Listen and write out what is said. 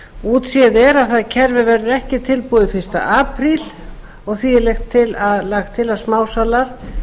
útséð er að það kerfi verður ekki tilbúið fyrsta apríl og því er lagt til að smásalar